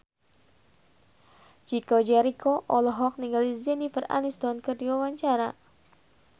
Chico Jericho olohok ningali Jennifer Aniston keur diwawancara